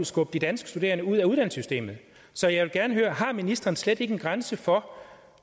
skubbe det danske studerende ud af uddannelsessystemet så jeg vil gerne høre har ministeren slet ikke en grænse for